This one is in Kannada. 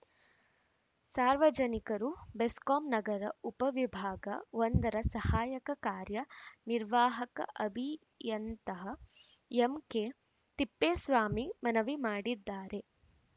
ಸಾರ್ವಜನಿಕರು ಬೆಸ್ಕಾಂ ನಗರ ಉಪ ವಿಭಾಗ ಒಂದರ ಸಹಾಯಕ ಕಾರ್ಯ ನಿರ್ವಾಹಕ ಅಭಿಯಂತಹ ಎಂ ಕೆ ತಿಪ್ಪೇಸ್ವಾಮಿ ಮನವಿ ಮಾಡಿದ್ದಾರೆ